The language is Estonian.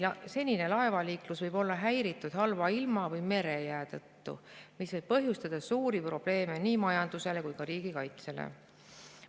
Senine laevaliiklus võib olla häiritud halva ilma või merejää tõttu, mis võib põhjustada suuri probleeme nii majandusele kui ka riigikaitsele.